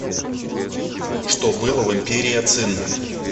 что было в империя цин